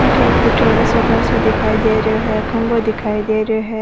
अठे एक फूट्योड़ो सो घर सो दिखाई दे रहियो है खम्भों दिखाई दे रहियो है।